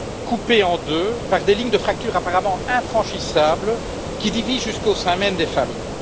coupées en deux par des lignes de fracture, apparemment infranchissables, qui divisent jusqu'au sein même des familles.